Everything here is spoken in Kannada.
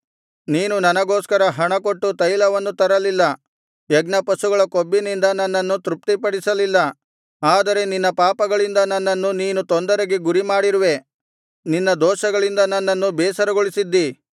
ನೀನು ನನಗೋಸ್ಕರ ಹಣಕೊಟ್ಟು ತೈಲವನ್ನು ತರಲಿಲ್ಲ ಯಜ್ಞಪಶುಗಳ ಕೊಬ್ಬಿನಿಂದ ನನ್ನನ್ನು ತೃಪ್ತಿಪಡಿಸಲಿಲ್ಲ ಆದರೆ ನಿನ್ನ ಪಾಪಗಳಿಂದ ನನ್ನನ್ನು ನೀನು ತೊಂದರೆಗೆ ಗುರಿಮಾಡಿರುವೆ ನಿನ್ನ ದೋಷಗಳಿಂದ ನನ್ನನ್ನು ಬೇಸರಗೊಳಿಸಿದ್ದೀ